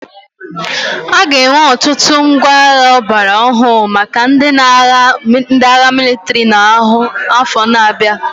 A ga-enwe ọtụtụ ngwa agha ọgbara ọhụrụ maka ndị agha mịlịtrị n'afọ ndị na-abịa.